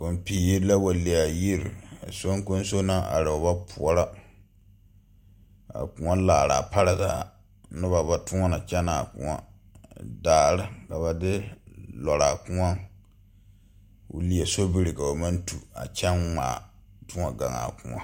Kɔŋpiiri la wa le a yiri soŋkoŋso naŋ are o ba poɔrɔ a koɔ laaraa pare zaa noba ba ttoɔnɔ kyɛnɛ a koɔ daare la ka ba de laaraa koɔŋ ko leɛ sobiri ka ba maŋ tu toɔ kyɛŋ ŋmaa toɔ gaŋ a koɔ.